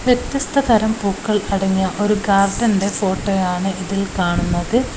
വ്യത്യസ്തതരം പൂക്കൾ അടങ്ങിയ ഒരു ഗാർഡൻ ഫോട്ടോയാണ് ഇതിൽ കാണുന്നത്.